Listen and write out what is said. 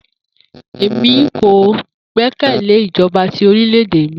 Emi ko gbẹkẹle ijọba ti orilẹ-ede mi.